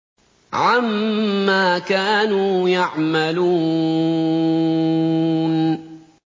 عَمَّا كَانُوا يَعْمَلُونَ